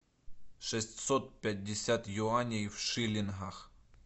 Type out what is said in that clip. шестьсот пятьдесят юаней в шиллингах